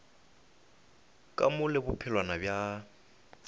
ka mo le bophelwana bja